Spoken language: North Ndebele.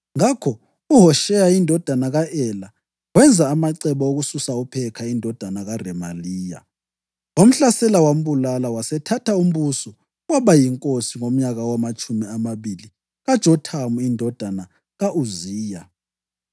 Ngakho uHosheya indodana ka-Ela wenza amacebo okususa uPhekha indodana kaRemaliya. Wamhlasela wambulala, wasethatha umbuso waba yinkosi ngomnyaka wamatshumi amabili kaJothamu indodana ka-Uziya.